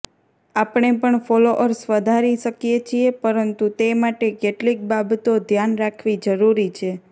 આપણે પણ ફોલોઅર્સ વધારી શકીએ છીએ પરંતુ તે માટે કેટલીક બાબતો ધ્યાન રાખવી જરૂરી છે